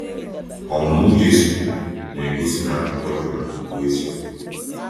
Ọmụmụ Jesu na-egosi na akụkọ Jọnà bụ eziokwu.